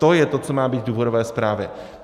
To je to, co má být v důvodové zprávě.